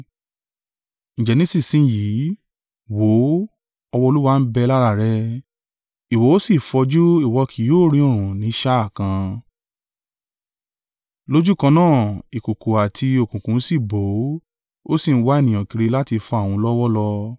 Ǹjẹ́ nísinsin yìí wò ó, ọwọ́ Olúwa ń bẹ lára rẹ̀, ìwọ ó sì fọjú ìwọ kì yóò rí oòrùn ní sá à kan!” Lójúkan náà, ìkùùkuu àti òkùnkùn sí bò ó; ó sì ń wá ènìyàn kiri láti fa òun lọ́wọ́ lọ.